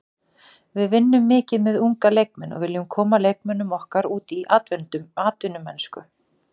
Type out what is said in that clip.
Við vinnum mikið með unga leikmenn og viljum koma leikmönnum okkar út í atvinnumennsku.